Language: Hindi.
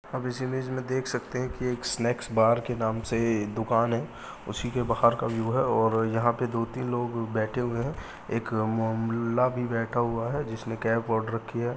आप इस इमेज में देख सकते हैं की एक स्नैक्स बार के नाम से दुकान है उसी के बाहर का व्यू है और यहाँ पर दो तीन लोग बैठे हुए है एक म मुल्ला भी बैठा हुआ है जिसने कैप ओढ़ रखी है।